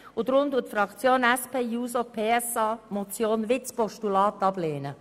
Darum lehnt unsere Fraktion den Vorstoss auch als Postulat ab.